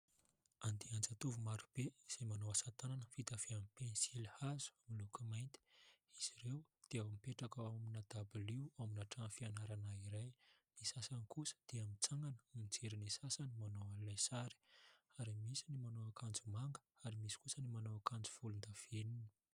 Andian-jatovo maro be izay manao asa tanana vita avy amin'ny pensilihazo miloko mainty. Izy ireo dia mipetraka ao amin'ny dabilio ao amin'ny trano fianarana iray, ny sasany kosa dia mitsangana mijery ny sasany manao ilay sary, ary misy ny manao akanjo manga, ary misy kosa ny manao akanjo volondavenona.